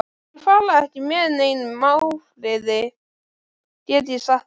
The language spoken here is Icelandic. Þeir fara ekki með neinum ófriði, get ég sagt þér.